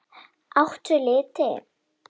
Áttu liti?